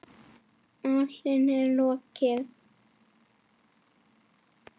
Málinu er lokið.